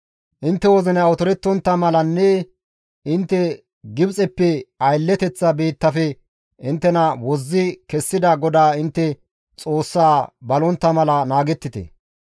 intte wozinay otorettontta malanne intte Gibxeppe aylleteththa biittafe inttena wozzi kessida GODAA intte Xoossaa balontta mala naagettite.